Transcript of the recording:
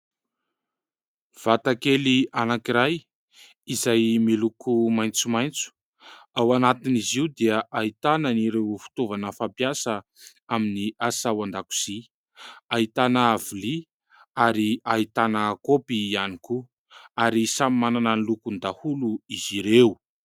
Vata kely anankiray izay miloko maitsomaitso. Ao anatin'izy io dia ahitana ireo fitaovana fampiasa amin'ny asa ao an-dakozia ahitana vilia ary ahitana kaopy ihany koa ary samy manana ny lokony daholo izy ireo.